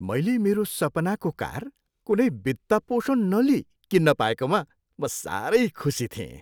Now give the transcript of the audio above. मैले मेरो सपनाको कार कुनै वित्तपोषण नलिइ किन्न पाएकोमा म साह्रै खुसी थिएँ।